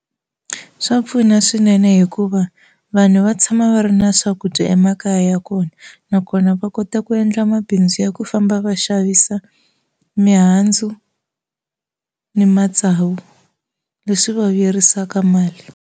Swa pfuna swinene hikuva vanhu va tshama va ri na swakudya emakaya ya kona nakona va kota ku endla mabindzu ya ku famba va xavisa mihandzu ni matsavu leswi va vuyerisaka mali.